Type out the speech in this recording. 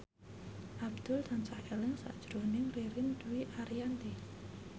Abdul tansah eling sakjroning Ririn Dwi Ariyanti